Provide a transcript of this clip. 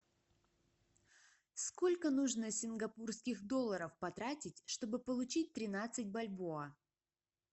сколько нужно сингапурских долларов потратить чтобы получить тринадцать бальбоа